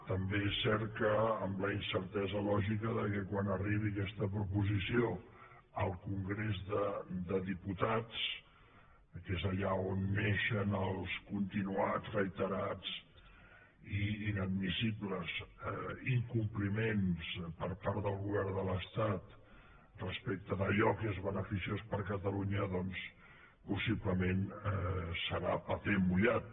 també és cert que amb la incertesa lògica que quan arribi aquesta proposició al congrés de diputats que és allà on neixen els continuats reiterats i inadmissibles incompliments per part del govern de l’estat respecte d’allò que és beneficiós per a catalunya doncs possiblement serà paper mullat